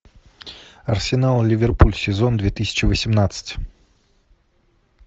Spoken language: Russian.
арсенал ливерпуль сезон две тысячи восемнадцать